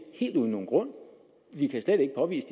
helt uden nogen grund vi kan slet ikke påvise